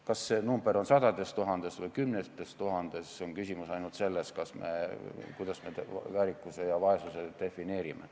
Kas neid inimesi on sadu tuhandeid või kümneid tuhandeid, oleneb sellest, kuidas me väärikuse ja vaesuse defineerime.